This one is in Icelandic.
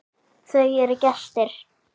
Það eru gestir.